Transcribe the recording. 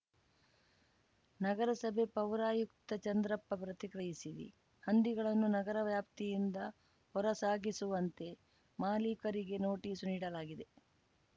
ನಗರಸಭೆ ಪೌರಾಯುಕ್ತ ಚಂದ್ರಪ್ಪ ಪ್ರತಿಕ್ರಿಯಿಸಿ ಹಂದಿಗಳನ್ನು ನಗರ ವ್ಯಾಪ್ತಿಯಿಂದ ಹೊರಸಾಗಿಸುವಂತೆ ಮಾಲೀಕರಿಗೆ ನೋಟಿಸ್‌ ನೀಡಲಾಗಿದೆ